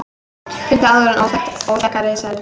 Fundu áður óþekkta risaeðlu